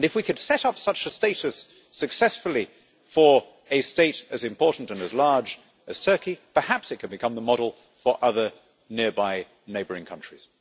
And if we could set up such a status successfully for a state as important and as large as Turkey, perhaps it could become the model for relations with other nearby neighbouring countries.